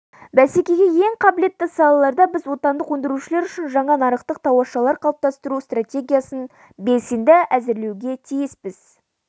бәсекеге ең қабілетті салаларда біз отандық өндірушілер үшін жаңа нарықтық тауашалар қалыптастыру стратегиясын белсенді әзірлеуге тиіспіз